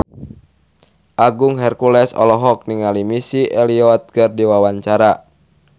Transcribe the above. Agung Hercules olohok ningali Missy Elliott keur diwawancara